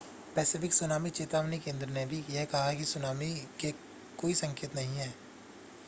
Pacific tsunami चेतावनी केंद्र ने भी यह कहा कि सुनामी के कोई संकेत नहीं हैं